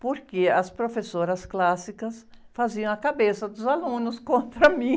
Porque as professoras clássicas faziam a cabeça dos alunos contra mim.